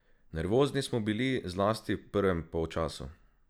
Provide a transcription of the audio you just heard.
Nervozni smo bili, zlasti v prvem polčasu.